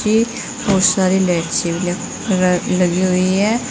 बहुत सारी light serial से लगी हुई है।